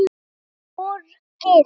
Mér er borgið.